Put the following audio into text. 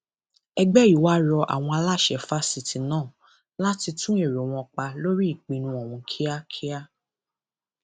ẹgbẹ yìí wàá rọ àwọn aláṣẹ fásitì náà láti tún èrò wọn pa lórí ìpinnu ohun kíákíá